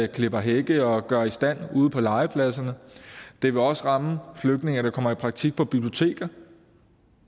klipper hække og gør i stand ude på legepladserne det vil også ramme flygtninge der kommer i praktik på biblioteker